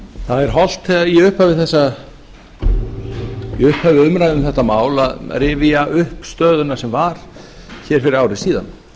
það er hollt í upphafi umræðu um þetta mál að rifja upp stöðuna sem var hér fyrir ári síðan